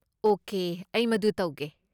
Okay, ꯑꯩ ꯃꯗꯨ ꯇꯧꯒꯦ꯫